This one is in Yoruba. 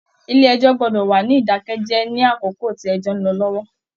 Ilé ẹjọ gbọdọ wà ní idakẹ jẹ ní àkókò tí ẹjọ n lọ lọwọ.